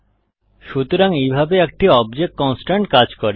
সুতরাং এইভাবে একটি অবজেক্ট কনস্ট্রেইন্ট কাজ করে